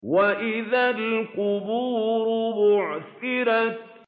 وَإِذَا الْقُبُورُ بُعْثِرَتْ